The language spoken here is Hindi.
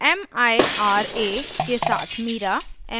* mira के साथ mira